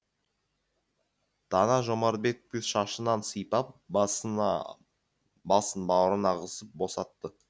тана жомартбекті шашынан сипап басын бауырына қысып босатты